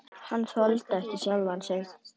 Hann þoldi ekki sjálfan sig.